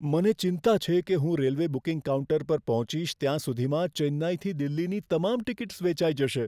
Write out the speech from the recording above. મને ચિંતા છે કે હું રેલવે બુકિંગ કાઉન્ટર પર પહોંચીશ ત્યાં સુધીમાં ચેન્નઈથી દિલ્હીની તમામ ટિકિટ્સ વેચાઈ જશે.